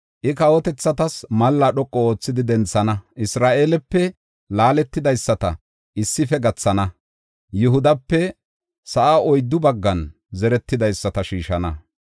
I kawotethatas malla dhoqu oothidi denthana; Isra7eelepe laaletidaysata issife gathana; Yihudape sa7aa oyddu baggan zeretidaysata shiishana.